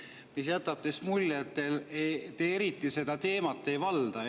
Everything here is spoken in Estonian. See jätab teist mulje, et te eriti seda teemat ei valda.